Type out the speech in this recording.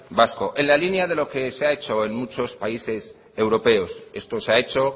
vasco en la línea de lo que se ha hecho en muchos países europeos esto se ha hecho